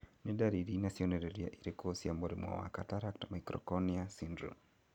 Nĩ ndariri na cionereria irĩkũ cia mũrimũ wa Cataract microcornea syndrome ?